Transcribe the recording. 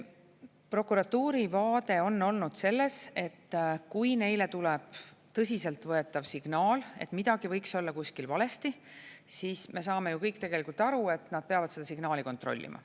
Prokuratuuri vaade on olnud see, et kui neile tuleb tõsiselt võetav signaal, et midagi võiks olla kuskil valesti, siis me saame ju kõik aru, et nad peavad seda signaali kontrollima.